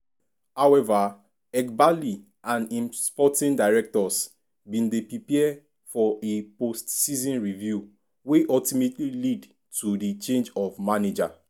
however eghbali and im sporting directors bin dey prepare for a post-season review wey ultimately led to di change of manager.